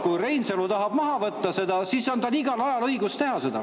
Kui Reinsalu tahab seda maha võtta, siis on tal igal ajal õigus seda teha.